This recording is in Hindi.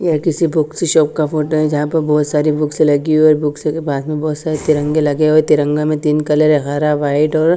यह किसी बुक्सि की शॉप का फोटो है जहाँ पे बहुत सारे बुक्स लगी है और बुक्स से बाद में बहुत सारे तिरंगे लगे हुए तिरंगा में तीन कलर है हरा वाइट और --